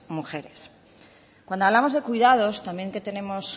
mujeres cuando hablamos de cuidados también tenemos